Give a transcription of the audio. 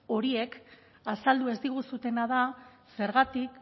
horiek azaldu ez diguzuena da zergatik